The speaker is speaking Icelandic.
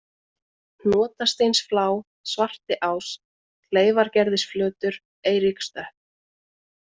Hnotasteinsflá, Svartiás, Kleyfargerðisflötur, Eiríkstöpp